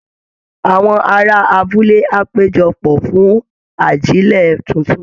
Àwọn ará abúlé á péjọ pọ̀ fún ajílẹ̀ tuntun